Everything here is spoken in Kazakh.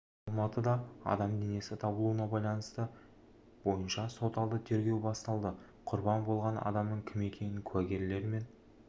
алматыда адам денесі табылуына байланысты бойынша сот алды тергеу басталды құрбан болған адамның кім екенін куәгерлер мен